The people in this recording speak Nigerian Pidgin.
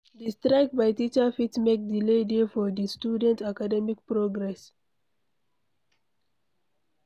Di strike by teacher fit make delay dey for di student academic progress